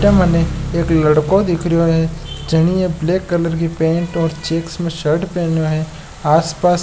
अठे मने एक लड़को दिखरयो है जनिए ब्लैक कलर की पैंट और चेक्स में शर्ट पहनो है आसपास --